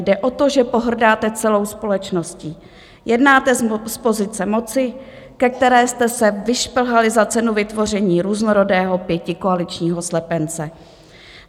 Jde o to, že pohrdáte celou společností, jednáte z pozice moci, ke které jste se vyšplhali za cenu vytvoření různorodého pětikoaličního slepence.